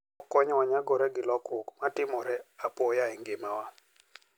Okonyowa nyagore gi lokruok ma timore apoya e ngimawa.